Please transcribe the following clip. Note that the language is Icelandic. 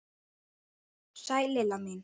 Sæl Lilla mín!